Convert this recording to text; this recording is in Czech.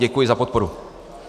Děkuji za podporu.